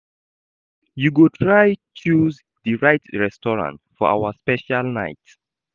You go try choose di right restaurant for our special night.